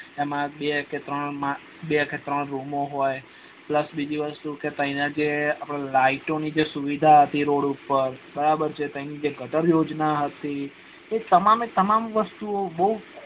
એમાં બ કે તન રુમો હોય plus બીજું વસ્તુ કે અહીના જે અપડા જે light ની સુવિધા હતી એ રોડ ઉપર ત્યાની જે ગટર યોજના હતી તે તમામ તમામે વસ્તુ ઓ બહુ